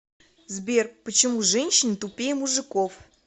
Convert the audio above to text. сбер почему женщины тупее мужиков